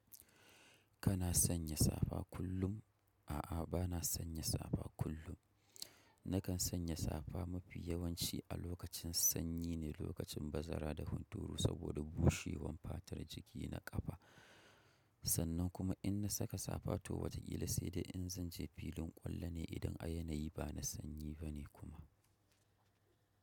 Kana sanya safa kullum? A'a, bana sanya safa kullum. Nakan sanya safa mafi yawanci a lokacin sanyi ne lokacin bazara da hunturu saboda bushewan fatar jiki na ƙafa. Sannan kuma in na saka safa to wataƙila saidai in zanje filin ƙwallo ne idan a yanayi bana sanyi bane kuma.